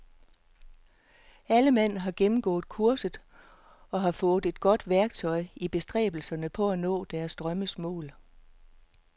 Alle mand har gennemgået kurset og har fået et godt værktøj i bestræbelserne på at nå deres drømmes mål.